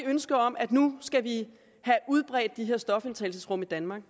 ønske om at nu skal vi have udbredt de her stofindtagelsesrum i danmark